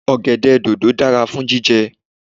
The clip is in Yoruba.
Ọ̀gẹ̀dẹ̀ dòdò dára fún jíjẹ